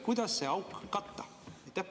Kuidas see auk katta?